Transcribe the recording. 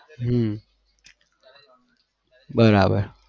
હમ બરાબર